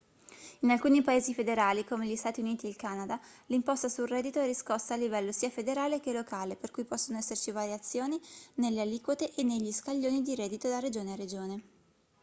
in alcuni paesi federali come gli stati uniti e il canada l'imposta sul reddito è riscossa a livello sia federale che locale per cui possono esserci variazioni nelle aliquote e negli scaglioni di reddito da regione a regione